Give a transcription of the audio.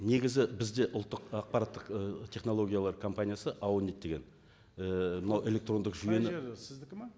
негізі бізде ұлттық ақпараттық ы технологиялар компаниясы аунит деген і мына электрондық жүйені қай жер сіздікі ме